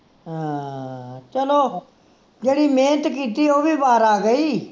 ਹਾਂ ਚਲੋ ਜਿਹੜੀ ਮਿਹਨਤ ਕੀਤੀ ਹੈ ਉਹ ਵੀ ਬਾਹਰ ਆ ਗਈ